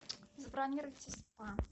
забронируйте спа